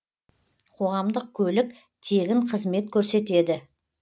қоғамдық көлік тегін қызмет көрсетеді